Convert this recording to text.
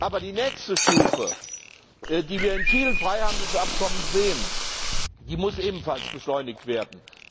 Aber die nächste Stufe, wie wir in vielen Freihandelsabkommen sehen, muss ebenfalls beschleunigt werden.